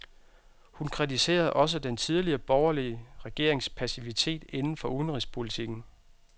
Hun kritiserede også den tidligere borgerlige regerings passivitet inden for udenrigspolitikken.